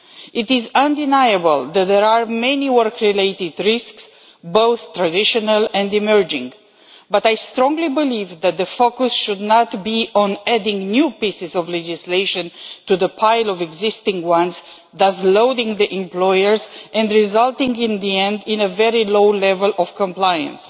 It is undeniable that there are many work related risks, both traditional and emerging, but I strongly believe that the focus should not be on adding new pieces of legislation to the pile of existing ones, thereby overloading the employers and resulting in the end in a very low level of compliance.